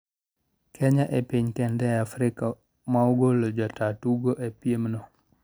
Kenya e piny kende e Afrika ma ogolo jataa tugo e piem no